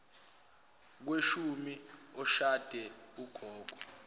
kushone oshade ugogo